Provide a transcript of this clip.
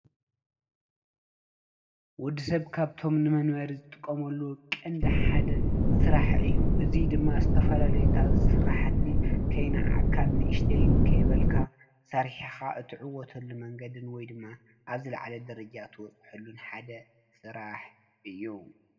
ወዲ ሰብ ካብቶም ንመንበሪ ዝጥቀመሉ ቀንዲ ሓደ ስራሕ እዩ፡፡ እዚ ድማ ዝተፈላለዩ ኣብ ዝስራሕ ከይናዓቅካ ዓብይን ንእሽተይን ከይበልካ ሰሪሕካ እትዕወተሉ መንገዲ ወይ ድማ ኣብ ዝላዓለ ደረጃ እትበፅሐሉ ሓደ ስራሕ እዩ፡፡